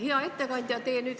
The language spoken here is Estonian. Hea ettekandja!